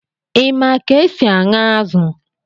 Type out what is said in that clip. Ị ma ka e si aṅụ azụ̀?